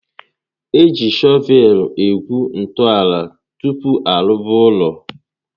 Eji shọvel egwu ntọala tupu arụba ụlọ